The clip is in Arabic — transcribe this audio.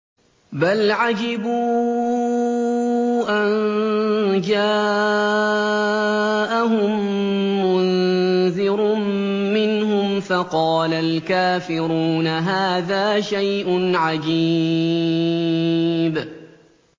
بَلْ عَجِبُوا أَن جَاءَهُم مُّنذِرٌ مِّنْهُمْ فَقَالَ الْكَافِرُونَ هَٰذَا شَيْءٌ عَجِيبٌ